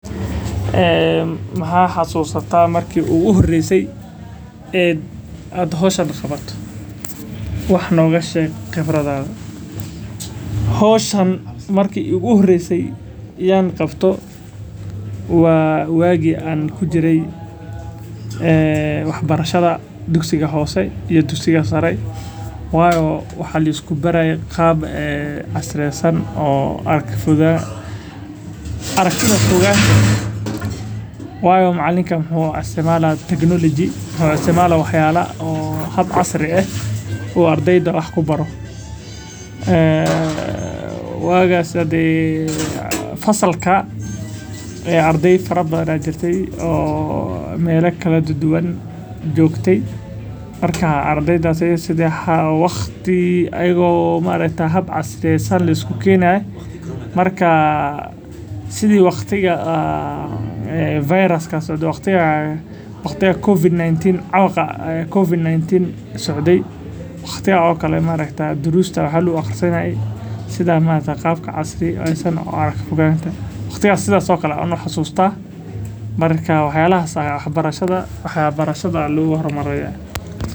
Maxaa xasusanya marki aan arko howshan aan qabto wax nooga sheeg khibradaada marki aan qabto waa waagi aan ku jire wax barashada waxaa lisku baraaye hab casri ah oo ardeyda wax lagu baro fasalka ardey fara badan oo meela kala duban joogte ayaa jirte sida waqtigaas socde camal dariista si casri ah ayaa lagu aqrisanaye.